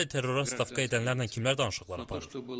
Ümumiyyətlə terrora stavka edənlərlə kimlər danışıqlar aparır?